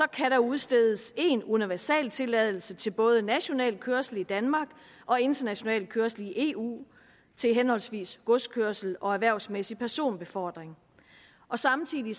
kan der udstedes en universaltilladelse til både national kørsel i danmark og international kørsel i eu til henholdsvis godskørsel og erhvervsmæssig personbefordring og samtidig